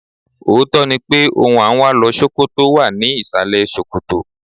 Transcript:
Òótọ́ ni pé ohun à ń wá lọ Ṣókótó wà ní ìsàlẹ̀ ṣòkòtò.